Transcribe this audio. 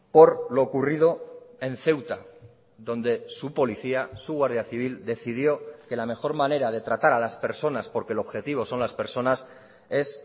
por lo ocurrido en ceuta donde su policía su guardia civil decidió que la mejor manera de tratar a las personas porque el objetivo son las personas es